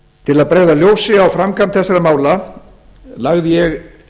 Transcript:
til að bregða ljósi á framgang þessara mála lagði ég